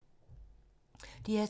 DR2